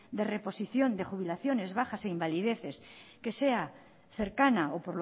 de reposición de jubilaciones bajas e invalideces que sea cercana o